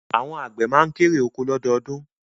Àwọn àgbẹ̀ ma kérè oko lọ́dọọdún